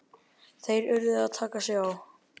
Þeir urðu að taka sig á!